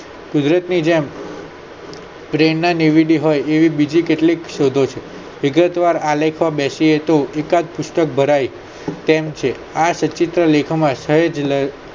કુદરત ની જેમ પ્રેણના લીધી હોય એવી બીજી કેટલીક શોધો છે વિગતવાર આલેખવા બેસીયે તો એકાદ પુસ્તક ભરાય તેમ છે આ લેખન